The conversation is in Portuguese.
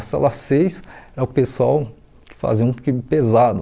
A cela seis era o pessoal que fazia um crime pesado.